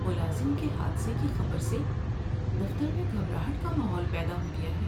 ملازم کے حادثے کی خبر سے دفتر میں گھبراہٹ کا ماحول پیدا ہو گیا ہے۔